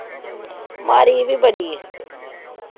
ਮਾੜੀ ਵੀ ਬੜੀ ਆ।